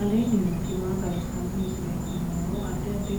aleenni nooti maa xawisanno misileeti yinummoro addi addi